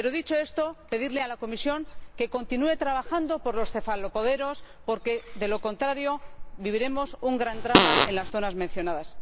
Pero dicho esto, deseo pedirle a la Comisión que continúe trabajando por los cefalopoderos porque, de lo contrario, viviremos un gran drama en las zonas mencionadas.